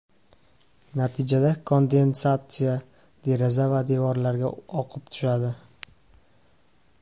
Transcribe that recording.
Natijada kondensatsiya deraza va devorlarga oqib tushadi.